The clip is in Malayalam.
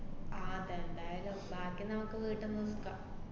ആഹ് അതെന്തായാലും ബാക്കി നമുക്ക് വീട്ടീന്ന് മുക്കാ~